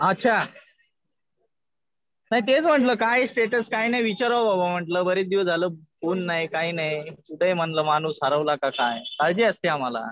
अच्छा. हा नाही तेच म्हणलं काय स्टेटस काय नाही विचारावं म्हणलं बरेच दिवस झालं फोन नाही काही नाही. कुठे म्हणलं माणूस हरवला का काय. काळजी असते आम्हाला.